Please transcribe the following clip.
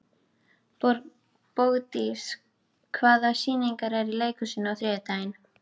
Bogdís, hvaða sýningar eru í leikhúsinu á þriðjudaginn?